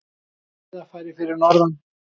Gott skíðafæri fyrir norðan